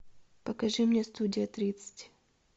покажи мне студия тридцать